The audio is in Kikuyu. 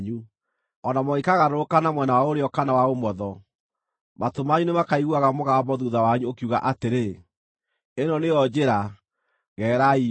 O na mũngĩkagarũrũka na mwena wa ũrĩo kana wa ũmotho, matũ manyu nĩmakaiguaga mũgambo thuutha wanyu ũkiuga atĩrĩ, “Ĩno nĩyo njĩra; gererai yo.”